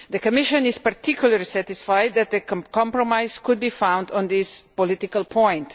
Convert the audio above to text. The Commission is particularly satisfied that a compromise could be found on this political point.